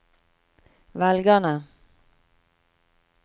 velgerne